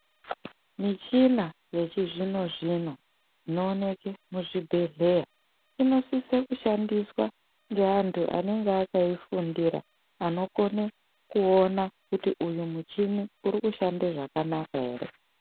Michina yechizvino zvino inooneke muzvibhedhleya inosise kushandiswa ngeantu anenge akaifundira anokone kuona kuti uyu muchini ukushanda zvakanaka ere.